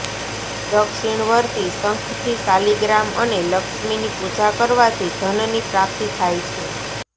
દક્ષિણવર્તી શંખથી શાલિગ્રામ અને લક્ષ્મીની પૂજા કરવાથી ધનની પ્રાપ્તિ થાય છે